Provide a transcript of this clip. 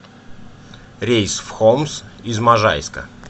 рейс в хомс из можайска